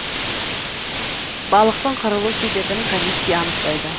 балықтың қырылу себебін комиссия анықтайды